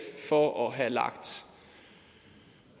for at have lagt